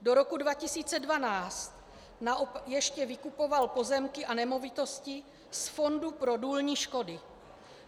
Do roku 2012 ještě vykupoval pozemky a nemovitosti z fondu pro důlní škody.